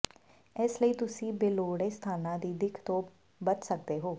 ਇਸ ਲਈ ਤੁਸੀਂ ਬੇਲੋੜੇ ਸਥਾਨਾਂ ਦੀ ਦਿੱਖ ਤੋਂ ਬਚ ਸਕਦੇ ਹੋ